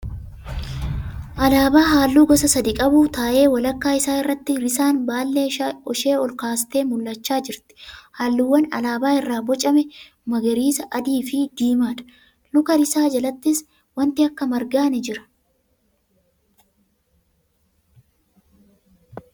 Alaabaa halluu gosa sadii qabu ta'ee walakkaa isaa irratti risaan baallee ishee ol kaastee mul'achaa jirti. Halluuwwan alaabaan irraa bocame magariisa , adiifi diimaadha. Luka risaa jalattis wanti akka margaa ni jira.